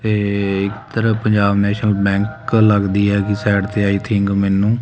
ਤੇ ਇਧਰ Punjab national bank ਲੱਗਦੀ ਹੈਗੀ ਸਾਈਡ ਤੇ ਆਈ ਥਿੰਕ ਮੈਨੂੰ।